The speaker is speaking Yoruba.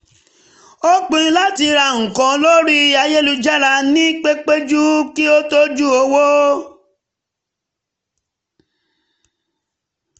ó pinnu láti ra nǹkan lórí ayélujára ní pẹ́júpẹ́ kí ó tọ́jú owó